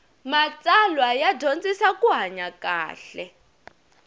matsalwa ya dyondzisa ku hanya kahle